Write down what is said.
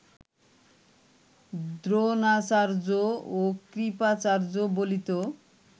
দ্রোণাচার্য ও কৃপাচার্য বলিত